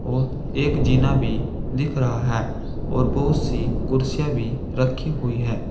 और एक जीना भी दिख रहा है और बहुत सी कुर्सियां भी रखी हुई है।